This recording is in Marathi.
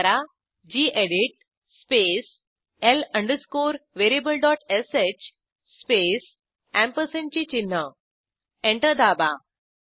टाईप करा गेडीत स्पेस l अंडरस्कोरvariablesh स्पेस अँपरसँड चिन्ह एंटर दाबा